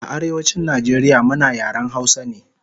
A Arewachin Nijeria muna yaren hausa ne